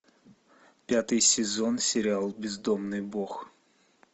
пятый сезон сериал бездомный бог